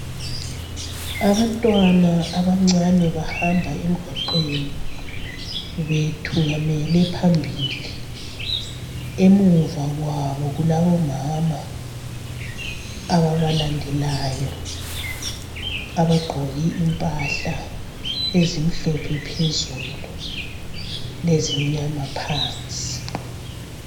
Abantwana abancane bahambe emgwaqweni bethungamele phambili. Emuva kwabo kulabomama ababalendelayo, abagqoke impahla ezimhlophe phezulu lezimnyama phansi.